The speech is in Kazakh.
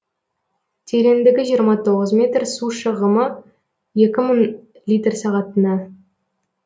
тереңдігі жиырма тоғыз метр су шығымы екі мың литр сағатына